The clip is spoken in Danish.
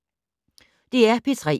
DR P3